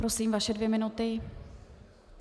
Prosím, vaše dvě minuty.